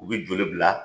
U bɛ joli bila